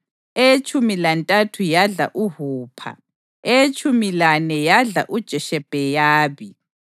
eyetshumi lantathu yadla uHupha, eyetshumi lane yadla uJeshebheyabi,